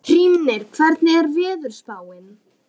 Hrímnir, hvernig er veðurspáin?